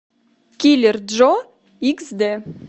киллер джо икс д